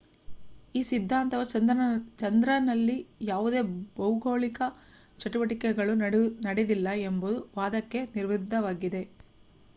ಈ ಸಿದ್ಧಾಂತವು ಚಂದ್ರನಲ್ಲಿ ಯಾವುದೇ ಭೌಗೋಳಿಕ ಚಟುವಟಿಕೆಗಳು ನಡೆದಿಲ್ಲ ಎಂಬ ವಾದಕ್ಕೆ ವಿರುದ್ಧವಾಗಿದೆ